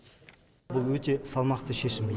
бұл өте салмақты шешім